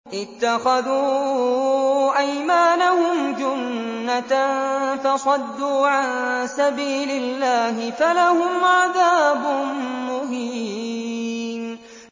اتَّخَذُوا أَيْمَانَهُمْ جُنَّةً فَصَدُّوا عَن سَبِيلِ اللَّهِ فَلَهُمْ عَذَابٌ مُّهِينٌ